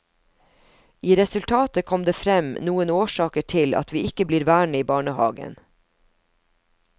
I resultatet kom det frem noen årsaker til at vi ikke blir værende i barnehagen.